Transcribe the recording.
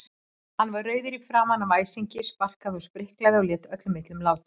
Hann var rauður í framan af æsingi, sparkaði og spriklaði og lét öllum illum látum.